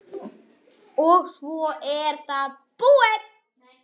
og svo er það búið.